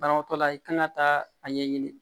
Banabaatɔ la i kan ka taa a ɲɛɲini